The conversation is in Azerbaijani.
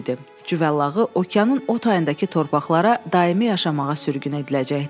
Cüvəllağı okeanın o tayındakı torpaqlara daimi yaşamağa sürgün ediləcəkdi.